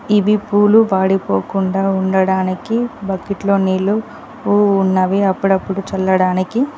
ఇవి పూలు పడిపోకుండా ఉండడానికి బకెట్లో నీళ్లు అప్పుడప్పుడు చల్లడానికి.